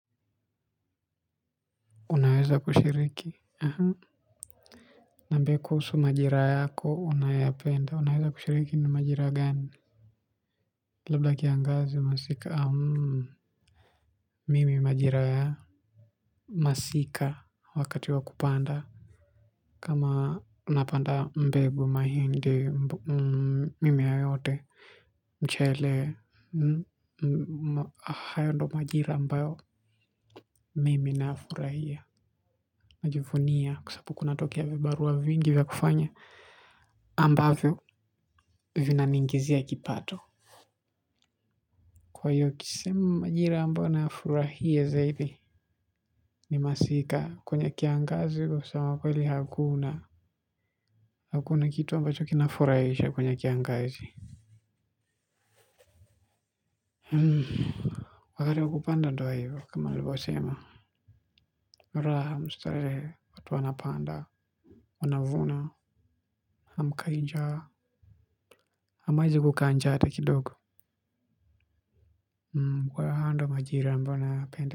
Unaweza kushiriki niambie kuhusu majereha yako unayo yapenda. Unaweza kushiriki na majira gani? Labda kiangazi masika au mimi majira ya masika wakati wa kupanda. Kama unapanda mbegu mahindi mimea yote mchele. Hayo ndo majira ambayo mimi nafurahia najivunia kwa sababu kunatokea vibarua vingi vya kufanya ambavyo vina ni igizia kipato kwa hiyo kisema majira ambayo nafurahia zaidi ni masika kwenye kiangazi kwa kusema kweli hakuna hakuna kitu ambacho kinafurahisha kwenye kiangazi wakati wakupanda ndo hivyo kama walivyo sema raha mstarehe watu wanapanda wanavuna hamkai njaa hamwezi kukanjaa ata kidogo kwa hiyo hayo ndo majira ambayo naya penda.